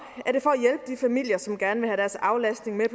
er familier som gerne vil have deres aflastning med